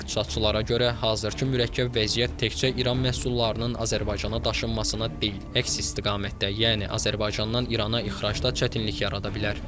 İqtisadçılara görə, hazırki mürəkkəb vəziyyət təkcə İran məhsullarının Azərbaycana daşınmasına deyil, əks istiqamətdə, yəni Azərbaycandan İrana ixracda çətinlik yarada bilər.